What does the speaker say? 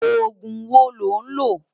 Ógún wó ló n lö?